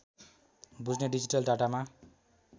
बुझ्ने डिजिटल डाटामा